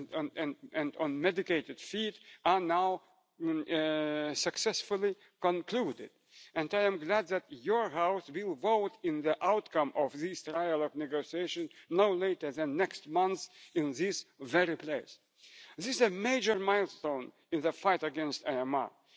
zetten. Wij moeten zoeken naar mogelijke oplossingen. Wij moeten hier onze verantwoordelijkheid nemen door Europese en internationale samenwerking op te zoeken